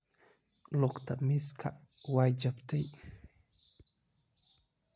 Lugta mesa way jabtay.